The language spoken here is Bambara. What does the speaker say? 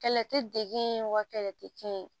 Kɛlɛ tɛ degun ye wa kɛlɛ tɛ kɛ ye